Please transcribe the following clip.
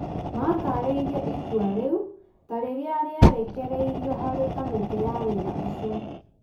matarĩirie itua rĩu ta rĩrĩa rĩerĩkeirio harĩ kamĩtĩ ya wĩra ũcio.